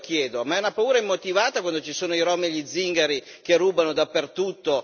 Allora io chiedo ma è una paura immotivata quando ci sono i rom e gli zingari che rubano dappertutto?